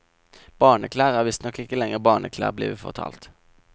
Barneklær er visstnok ikke lenger barneklær, blir vi fortalt.